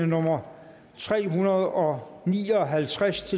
nummer tre hundrede og ni og halvtreds